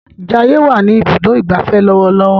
Jaiye wá ní Ibùdó ìgbafẹ́ lọwọlọwọ.